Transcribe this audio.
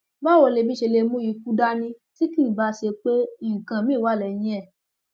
báwo ni èébì ṣe lè mú ikú dání tí kì í báá ṣe pé nǹkan míín wà lẹyìn ẹ